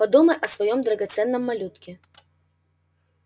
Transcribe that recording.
подумай о своём драгоценном малютке